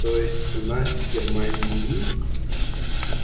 то есть у нас в германии мир